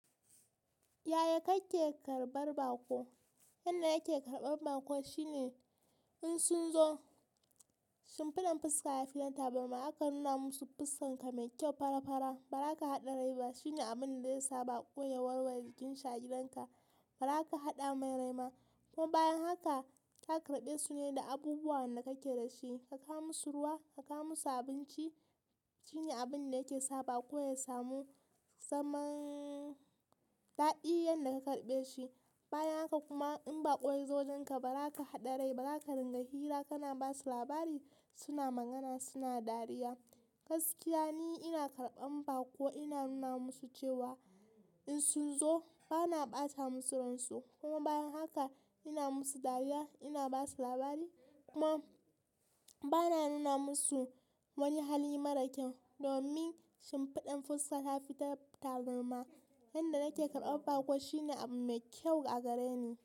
Yaya kake karɓar baƙo? Yanda nake karɓar baƙo shine in sun zo shimfiɗan fuska ya fi na tabarma. Haka nuna musu fuskan ka mai kyau farafara ba za ka haɗa rai ba. Shine abun da ya sa baƙo ya warware jikin shi a gidan ka. Ba ra ka haɗa mai rai ba. Kuma bayan haka ka karɓe su ne da abubuwan da kake da shi. Ka kawo musu ruwa, ka kawo musu abinci shine abun da yake sa baƙo ya samu saman daɗi. Yanan karbe shi. Bayan haka kuma in bako ya zo wajen ka baza ka hadda rai ba zaka dinga hira kana basu labari, suna magana, suna dariya. Gaskiya ni ina karɓan baƙo, ina nuna musu cewa in sun zo ba na ɓata musu ransu. Kuma bayan haka ina musu dariya, ina ba su labari kuma bana nuna musa wanni hali mara kyau domin sun fi dan fi son hafi tab tabarma. Yanda nake karɓar baƙo shine abu mai kyau a gareni.